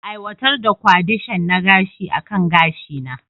Aiwatar da kwadishon na gashi akan gashina.